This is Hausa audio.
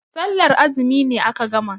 Sallar azumi ne aka gama.